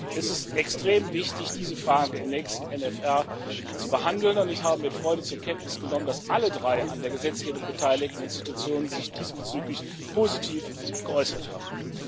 Es ist extrem wichtig, diese Frage im nächsten MFR zu behandeln, und ich habe mit Freude zur Kenntnis genommen, dass alle drei an der Gesetzgebung beteiligten Organe sich diesbezüglich positiv geäußert haben.